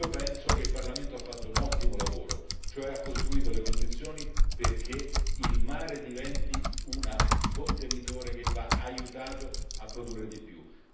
Penso che il Parlamento abbia fatto un ottimo lavoro, cioè ha costruito le condizioni perché il mare diventi un contenitore che va aiutato a produrre di più.